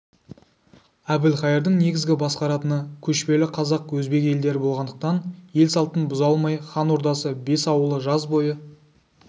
әбілқайырдың негізгі басқаратыны көшпелі қазақ өзбек елдері болғандықтан ел салтын бұза алмай хан ордасы бес ауылы жаз бойы